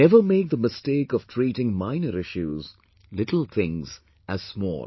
never make the mistake of treating minor issues, little things as small